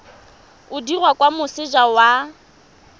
o dirwa kwa moseja wa